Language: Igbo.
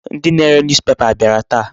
Ndị na-are newspaper ha abịara taa?